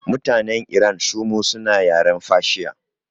Mutanen iran sumu suna yaren fashiya